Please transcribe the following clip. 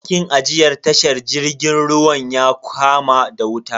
Dakin ajiyar tashar jirgin ruwan ya kama da wuta.